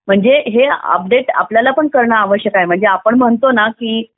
म्हणजे हे अपडेट आपल्याला करणे देखील आवश्यक आहे म्हणजे आपण म्हणतो ना की